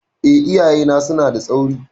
Eh, iyayena suna da tsauri.